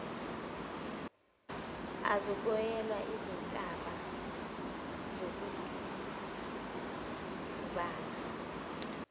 azoyiwela izintaba azozidundubala